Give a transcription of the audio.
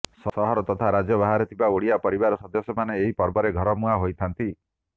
ସହର ତଥା ରାଜ୍ୟ ବାହାରେ ଥିବା ଓଡ଼ିଆ ପରିବାରର ସଦସ୍ୟ ମାନେ ଏହି ପର୍ବରେ ଘର ମୁହାଁ ହୋଇଥାନ୍ତି